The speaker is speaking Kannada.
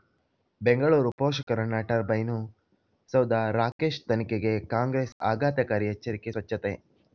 ಬೆಂಗಳೂರು ಪೋಷಕಋಣ ಟರ್ಬೈನು ಸೌಧ ರಾಕೇಶ್ ತನಿಖೆಗೆ ಕಾಂಗ್ರೆಸ್ ಆಘಾತಕಾರಿ ಎಚ್ಚರಿಕೆ ಸ್ವಚ್ಛತೆ